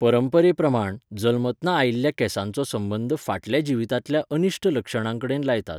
परंपरेप्रमाण, जल्मतना आयिल्ल्या केंसांचो संबंद फाटल्या जिवितांतल्या अनिश्ट लक्षणांकडेन लायतात.